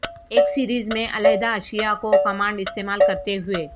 ایک سیریز میں علیحدہ اشیاء کو کمانڈ استعمال کرتے ہوئے